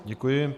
Děkuji.